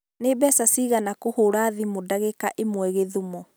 Nĩ mbeca cigana kũhũra thimũ ndagĩka ĩmwe gĩthũmo